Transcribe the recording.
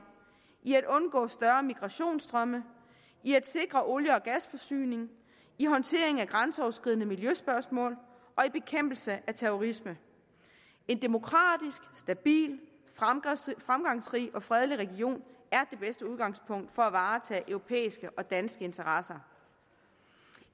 i at undgå større migrationsstrømme i at sikre olie og gasforsyning i håndtering af grænseoverskridende miljøspørgsmål og i bekæmpelse af terrorisme en demokratisk stabil fremgangsrig og fredelig region er det bedste udgangspunkt for at varetage europæiske og danske interesser